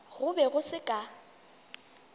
go be go se ka